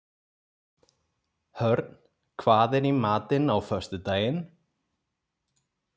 Hörn, hvað er í matinn á föstudaginn?